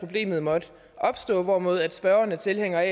problemet måtte opstå hvorimod spørgeren er tilhænger af